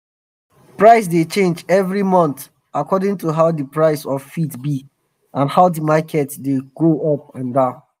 price dey change evri month according to how d price of feed be and how d market dey go up and down.